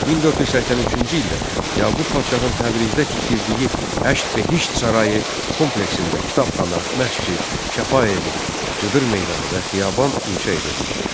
1483-cü ildə Yaqub Paşanın Təbrizdə tikdirdiyi Həşt Behişt sarayı kompleksində kitabxana, məscid, şəfa evi, cıdır meydanı və xiyaban inşa edilmişdi.